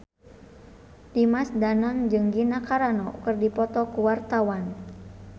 Dimas Danang jeung Gina Carano keur dipoto ku wartawan